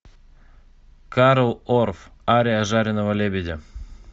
карл орф ария жареного лебедя